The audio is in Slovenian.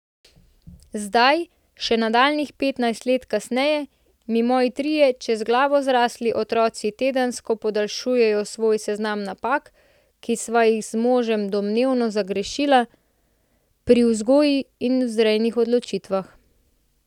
Zdaj, še nadaljnjih petnajst let kasneje, mi moji trije čez glavo zrasli otroci tedensko podaljšujejo svoj seznam napak, ki sva jih z možem domnevno zagrešila pri vzgojnih in vzrejnih odločitvah.